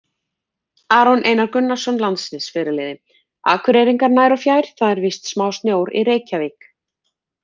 Aron Einar Gunnarsson, landsliðsfyrirliði: Akureyringar nær og fjær það er vist smá snjór í reykjavík.